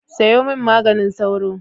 Sayo min maganin sauro.